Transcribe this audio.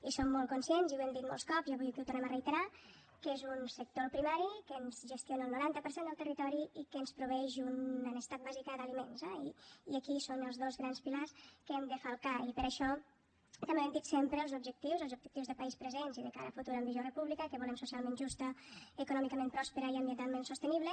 i som molt conscients i ho hem dit molts cops i avui aquí ho tornem a reiterar que és un sector el primari que ens gestiona el noranta per cent del territori i que ens proveeix una necessitat bàsica d’aliments eh i aquí són els dos grans pilars que hem de falcar i per això també ho hem dit sempre els objectius els objectius de país presents i de cara a futur amb visió de república que volem socialment justa econòmicament prospera i ambientalment sostenible